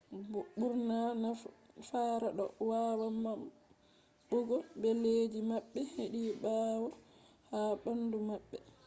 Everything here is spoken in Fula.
ɓurna fara ɗo wawa maɓɓugo bileji maɓɓe hedi ɓawo ha ɓandu maɓɓe